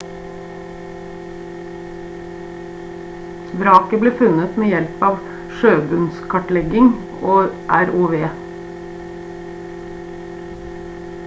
vraket ble funnet med hjelp av sjøbunnskartlegging og rov